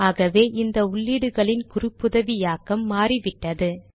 ஆகவே இந்த உள்ளீடுகளின் குறிப்புதவியாக்கம் மாறிவிட்டது